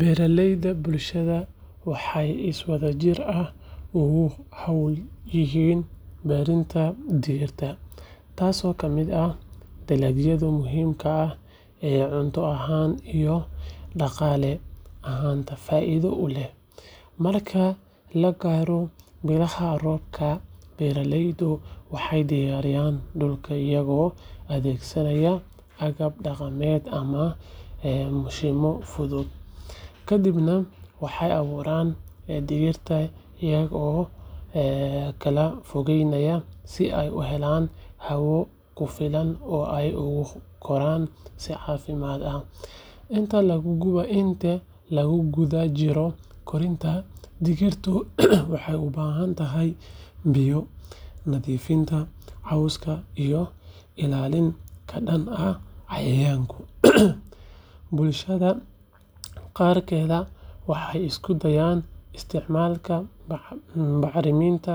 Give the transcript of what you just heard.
Beeraleyda bulshada waxay si wadajir ah ugu hawlan yihiin beerista digirta, taasoo ka mid ah dalagyada muhiimka ah ee cunto ahaan iyo dhaqaale ahaanba faa’iido u leh. Marka la gaaro bilaha roobka, beeraleydu waxay diyaariyaan dhulka iyagoo adeegsanaya agab dhaqameed ama mashiinno fudud. Kadibna waxay abuurtaan digirta iyaga oo kala fogeynaya si ay u helaan hawo ku filan oo ay ugu koraan si caafimaad leh. Inta lagu guda jiro koritaanka, digirtu waxay u baahan tahay biyo, nadiifinta cawska, iyo ilaalin ka dhan ah cayayaanka. Bulshada qaarkeed waxay isku dayaan isticmaalka bacriminta